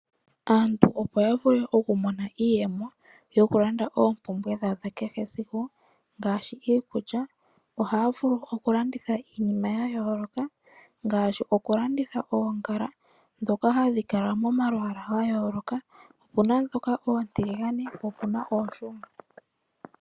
Aantu opo yavule okumona iiyemo, yokulanda oopumbwe dhawo dhakehe esiku ngashi iikulya , ohavulu okulanditha iinima yayoloka , ngashi okulanditha oongala dhoka hadhikala momalwala ngayoloka opuna dhoka otilingane po opuna oshunga.